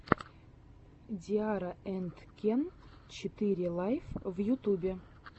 ди арра энд кен четыре лайф в ютюбе